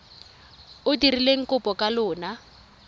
o dirileng kopo ka lona